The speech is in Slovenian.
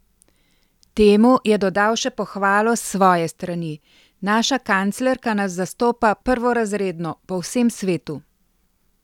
Temu je dodal še pohvalo s svoje strani: "Naša kanclerka nas zastopa prvorazredno po vsem svetu.